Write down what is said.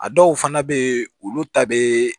A dɔw fana bɛ yen olu ta bɛ